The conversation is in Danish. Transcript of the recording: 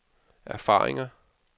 erfaringer